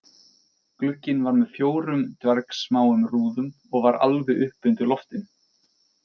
Glugginn var með fjórum dvergsmáum rúðum og var alveg uppi undir loftinu